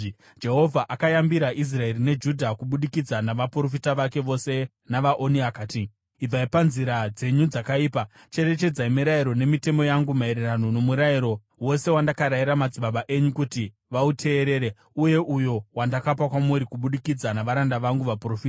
Jehovha akayambira Israeri neJudha kubudikidza navaprofita vake vose navaoni akati, “Ibvai panzira dzenyu dzakaipa. Cherechedzai mirayiro nemitemo yangu maererano noMurayiro wose wandakarayira madzibaba enyu kuti vauteerere uye uyo wandakapa kwamuri kubudikidza navaranda vangu vaprofita.”